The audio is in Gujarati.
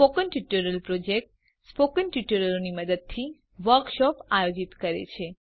સ્પોકન ટ્યુટોરીયલ પ્રોજેક્ટ સ્પોકન ટ્યુટોરીયલોની મદદથી વર્કશોપ આયોજિત કરે છે